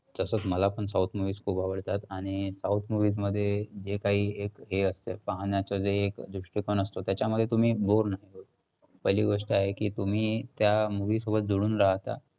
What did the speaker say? तसंच मला पण south movies खूप आवडतात. आणि south movies मध्ये जे काही एक हे असतं पाहण्याचं जे एक दृष्टिकोन असतो त्याच्यामध्ये तुम्ही boar नाही होत. पहिली गोष्ट आहे की तुम्ही त्या movie सोबत जोडून राहता.